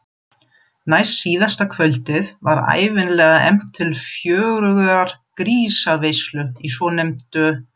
Næstsíðasta kvöldið var ævinlega efnt til fjörugrar grísaveislu í svonefndu